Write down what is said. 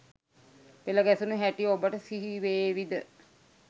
පෙළ ගැසුණු හැටි ඔබට සිහිවේවි ද?